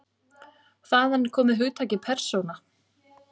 Þaðan er komið hugtakið persóna.